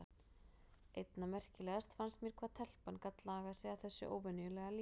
Einna merkilegast fannst mér hvað telpan gat lagað sig að þessu óvenjulega lífi.